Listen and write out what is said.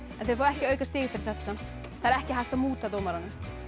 en þið fáið ekki aukastig fyrir þetta samt það er ekki hægt að múta dómaranum